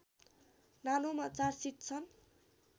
नानोमा चार सिट छन्